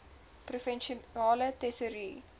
provinsiale tesourie